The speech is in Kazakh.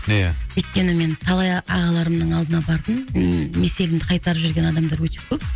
ия өйткені мен талай а ағаларымның алдына бардым м меселімді қайтарып жіберген адамдар өте көп